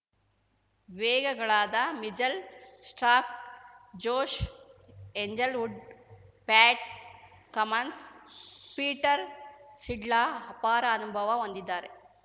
ವೇಗಗಳಾದ Mitchell Starc Josh Hazlewood Pat Cummins Peter Siddle ಅಪಾರ ಅನುಭವ ಹೊಂದಿದ್ದಾರೆ